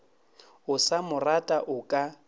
o sa morata o ka